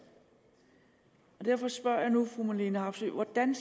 derfor spørger jeg fru marlene harpsøe hvordan